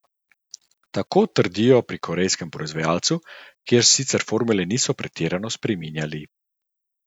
Tako trdijo pri korejskem proizvajalcu, kjer sicer formule niso pretirano spreminjali.